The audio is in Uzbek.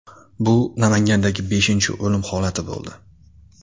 Bu Namangandagi beshinchi o‘lim holati bo‘ldi.